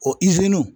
O